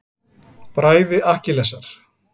Bræði Akkilesar.